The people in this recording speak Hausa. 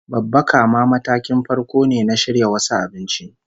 Babbaka ma matakin farko ne na shirya wasu abinci